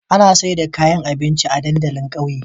Ana sayar da kayan abinci a dandalin ƙauye